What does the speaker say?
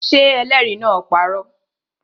Ṣé ẹlẹ́rìí náà parọ́?